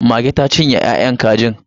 Mage ta cinye ya'yan kajin.